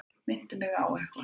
Minntu mig á eitthvað.